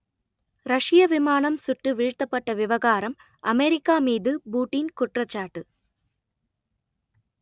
ரஷ்ய விமானம் சுட்டு வீழ்த்தப்பட்ட விவகாரம் அமெரிக்கா மீது புடீன் குற்றச்சாட்டு